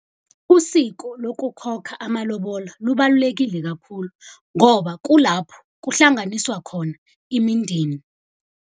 Usiko lokukhokha amalobola lubalulekile kakhulu, ngoba kulapho kuhlanganiswa khona imindeni.